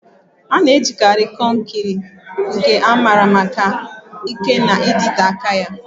A na-ejikarị konkiri, nke a maara maka ike na ịdịte aka ya